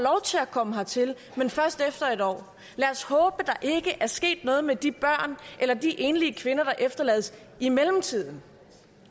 komme hertil men først efter en år lad os håbe der ikke er sket noget med de børn eller de enlige kvinder der efterlades i mellemtiden